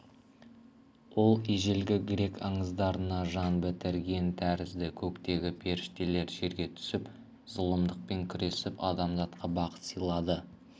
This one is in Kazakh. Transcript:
ол ежелгі грек аңыздарына жан бітірген тәрізді көктегі періштелер жерге түсіп зұлымдықпен күресіп адамзатқа бақыт сыйлады